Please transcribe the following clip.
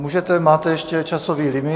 Můžete, máte ještě časový limit.